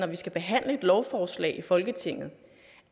vi skal behandle et lovforslag i folketinget